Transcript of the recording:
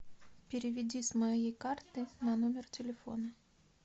переведи с моей карты на номер телефона